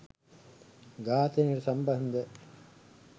ඝාතනයට සම්බන්ධ